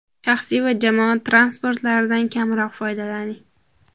Shaxsiy va jamoat transportlaridan kamroq foydalaning.